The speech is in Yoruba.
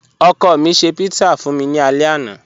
Ọkọ mi ṣẹ̀ pizza fun mi ni àlẹ̀ àná.